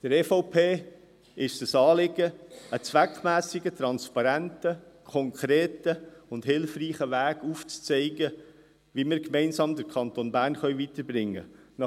Der EVP ist es ein Anliegen, einen zweckmässigen, transparenten, konkreten und hilfreichen Weg aufzuzeigen, wie wir den Kanton Bern gemeinsam weiterbringen können.